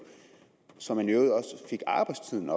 så arbejdstiden